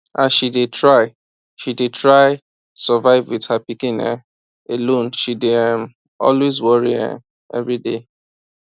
as she dey try she dey try survive with her pikin um alone she dey um always worry um every day